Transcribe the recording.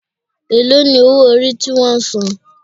Èló ni owó orí ti wón san?